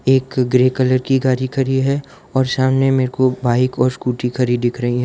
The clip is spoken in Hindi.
एक ग्रे कलर की गाड़ी खड़ी है और सामने में दो बाइक और स्कूटी खड़ी दिख रही है।